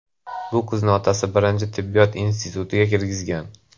Bu qizni otasi birinchi tibbiyot institutiga kirgizgan.